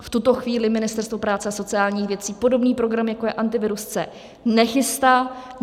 V tuto chvíli Ministerstvo práce a sociálních věcí podobný program, jako je Antivirus C, nechystá.